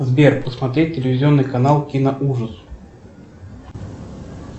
сбер посмотреть телевизионный канал киноужас